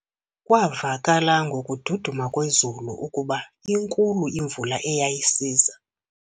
Kwavakala ngokududuma kwezulu ukuba inkulu imvula eyayisiza.